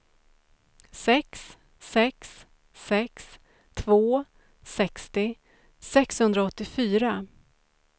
sex sex sex två sextio sexhundraåttiofyra